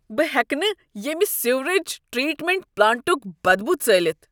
بہٕ ہیٚکہٕ نہٕ ییمہ سیوریج ٹریٹمنٹ پلانٛٹُک بدبو ژٲلِتھ۔